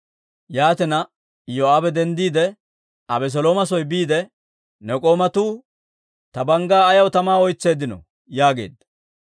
Yaatina, Iyoo'aabe denddiide, Abeselooma soo biide «Ne k'oomatuu ta banggaa ayaw tamaa oytseeddino?» yaageedda.